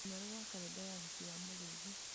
ũndũ mwerũ wa karenda ya ũhiki wa mũrĩithi